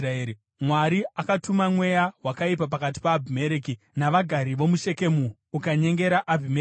Mwari akatuma mweya wakaipa pakati paAbhimereki navagari vomuShekemu, ukanyengera Abhimereki.